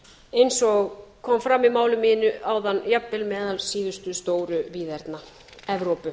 eins og kom fram í máli mínu áðan jafnvel meðal síðustu stóru víðerna evrópu